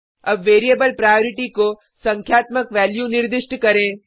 अब variable priority को संख्यात्मक वैल्यू निर्दिष्ट करें